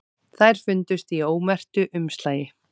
Þær fundust í ómerktu umslagi